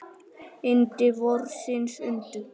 Yndi vorsins undu.